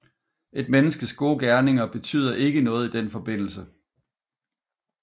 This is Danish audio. Et menneskes gode gerninger betyder ikke noget i den forbindelse